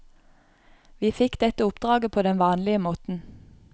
Vi fikk dette oppdraget på den vanlige måten.